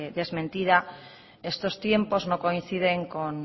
desmentida estos tiempos no coinciden con